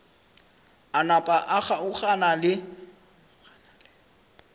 a napa a kgaogana le